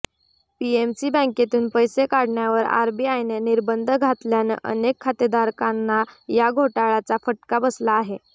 PMC बँकेतून पैसे काढण्यावर आरबीआयनं निर्बंध घातल्यानं अनेक खातेदारकांना या घोटाळ्याचा फटका बसला आहे